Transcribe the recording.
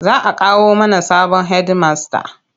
Za a kawo mana sabon hedimasta.